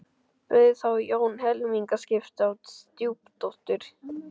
Bauð þá Jón helmingaskipti á stjúpdóttur